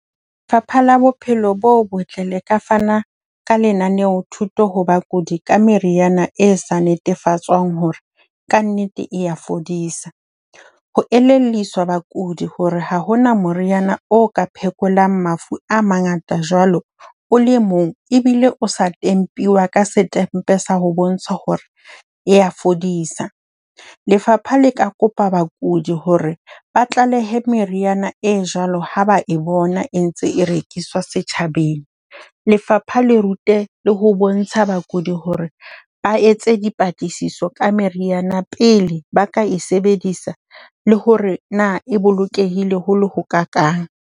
Lefapha la Bophelo bo Botle le ka fana ka lenaneo-thuto ho bakudi ka meriana e sa netefatswang hore kannete e a fodisa. Ho elelliswa bakudi hore ha ho na moriana o ka phekolang mafu a mangata jwalo o le mong ebile o sa tempuwa ka setempe sa ho bontsha hore e a fodisa. Lefapha le ka kopa bakudi hore ba tlalehe meriana e jwalo ha ba e bona e ntse e rekiswa setjhabeng. Lefapha le rute le ho bontsha bakudi hore ba etse dipatlisiso ka meriana pele ba ka e sebedisa le hore na e bolokehile ho le ho kaakang.